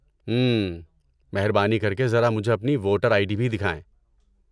ہمم۔ مہربانی کر کے ذرا مجھے اپنی ووٹر آئی ڈی بھی دکھائیں۔